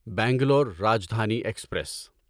Bangalore Rajdhani express